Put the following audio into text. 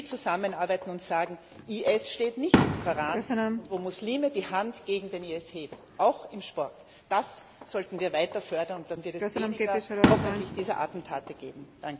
Wenn die zusammenarbeiten und sagen IS steht nicht im Koran, wenn Muslime die Hand gegen den IS heben, auch im Sport das sollten wir weiter fördern, und dann wird es hoffentlich weniger dieser Attentate geben.